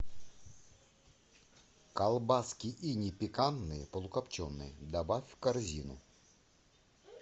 колбаски иней пикантные полукопченые добавь в корзину